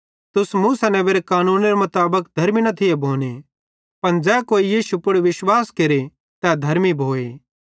तुस मूसा नेबेरे कानूने मुताबिक धर्मी न थी भोने पन ज़ै कोई यीशु पुड़ विश्वास केरे तै धर्मी भोए